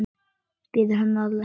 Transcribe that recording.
Biður hann að lækka.